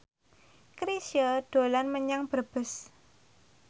Chrisye dolan menyang Brebes